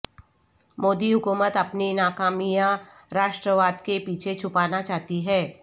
مودی حکومت اپنی ناکامیاں راشٹرواد کے پیچھے چھپانا چاہتی ہے